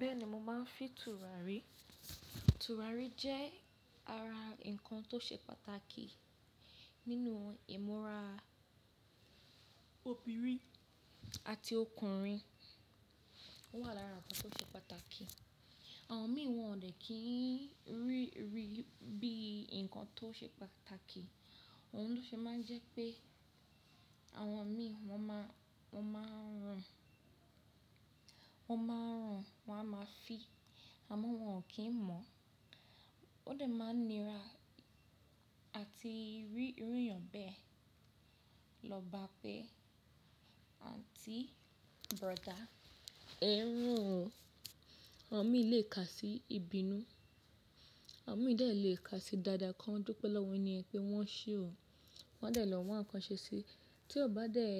Bẹ́ẹ̀ ni mo máa ń fi tùràrí. Tùràrí jẹ́ ara ǹkan tó ṣe pàtàkì nínú ìmúra obìnrin àti ọkùnrin. Ó wà lára ǹkan tó ṣe pàtàkì. Àwọn mi wọ́n ò dẹ̀ kí ń rí i bí ǹkan tó ṣe pàtàkì. Òhun tó ṣe máa ń jẹ́ pé àwọn mi wọ́n máa ń run, wọ́n máa ń run, wọ́n a máa fi, àmọ́ wọn ò kí ń mọ̀. Ó dẹ̀ máa ń nira àti rí irú ìyàn bẹ́ẹ̀ lọ bá pé Aunty, brother é n rùn o. Àwọn mi lè kà sí ìbínú, àwọn mi dẹ̀ lè kà sí dada kan. Ó dúpẹ́ lọ́wọ́ eni yẹn pé wọ́n ṣe o. Wọ́n dẹ̀ lọ́ wa nkan ṣe síi. Tí o bá dẹ̀,